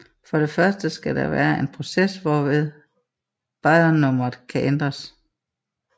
For det første skal der være en proces hvorved baryonnummeret kan ændres